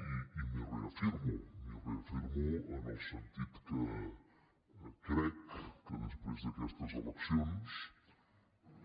i m’hi reafirmo m’hi reafirmo en el sentit que crec que després d’aquestes eleccions